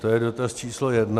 To je dotaz číslo jedna.